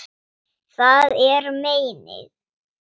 Það er meinið.